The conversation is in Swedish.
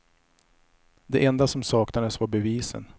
Det enda som saknades var bevisen.